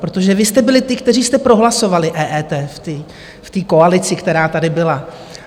Protože vy jste byli ti, kteří jste prohlasovali EET v té koalici, která tady byla.